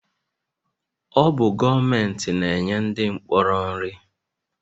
Ọ bụ gọọmenti na-enye ndị mkpọrọ nri